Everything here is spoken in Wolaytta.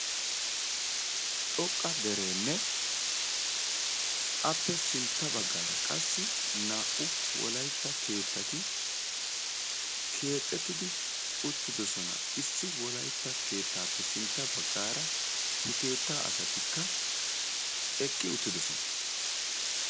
Xoqqa derenne appe sintta baggaara qassi naa"u wolaytta keettati keexxeridi utridoosona. Issi wolaytta keettappe sintta baggaara he keetta asatikka eqqi uttidoosona.